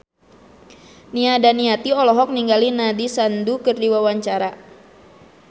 Nia Daniati olohok ningali Nandish Sandhu keur diwawancara